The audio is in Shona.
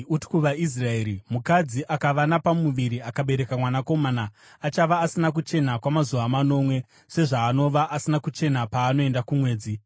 “Uti kuvaIsraeri, ‘Mukadzi akava napamuviri akabereka mwanakomana, achava asina kuchena kwamazuva manomwe, sezvaanova asina kuchena paanoenda kumwedzi.